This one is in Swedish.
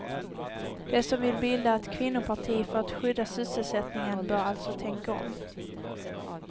De som vill bilda ett kvinnoparti för att skydda sysselsättningen bör alltså tänka om.